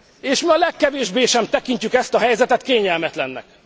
És mi a legkevésbé sem tekintjük ezt a helyzetet kényelmetlennek.